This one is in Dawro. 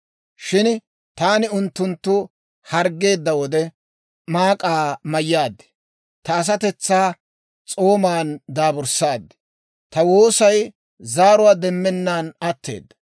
Shin taani unttunttu harggeedda wode, maak'aa mayyaad; ta asatetsaa s'oomaan daaburssaad. Ta woossay zaaruwaa demenan atteedda.